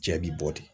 Cɛ bi bɔ de